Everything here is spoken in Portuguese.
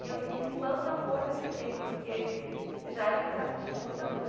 E eu me espanta a força que ele tem, porque já era para ele estar sentindo muita dor.